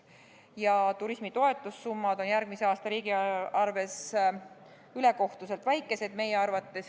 Meie arvates on turismi toetussummad järgmise aasta riigieelarves ülekohtuselt väikesed.